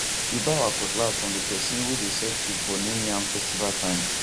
we buy our cutlass from the person way dey sell tools for new yam festival time